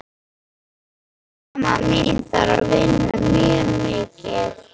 Mamma mín þarf að vinna mjög mikið.